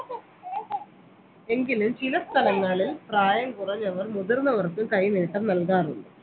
എങ്കിലും ചില സ്ഥലങ്ങളിൽ പ്രായം കുറഞ്ഞവർ മുതിർന്നവർക്കും കൈനീട്ടം നൽകാറുണ്ട്